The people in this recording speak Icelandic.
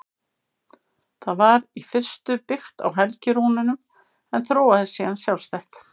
Það var í fyrstu byggt á helgirúnunum en þróaðist síðan sjálfstætt.